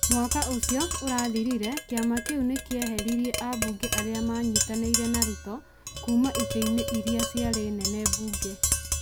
Mwaka ũcio ũrathirire, kĩama kĩu nĩ kĩeheririe ambunge arĩa manyitanĩire na Ruto kuuma itĩ-inĩ iria ciarĩ nene mbunge,